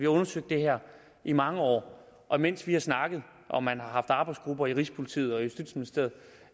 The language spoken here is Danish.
undersøgt det her i mange år og mens vi har snakket og man har haft arbejdsgrupper i rigspolitiet og justitsministeriet